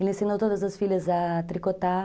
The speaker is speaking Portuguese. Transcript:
Ele ensinou todas as filhas a tricotar.